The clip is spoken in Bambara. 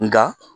Nga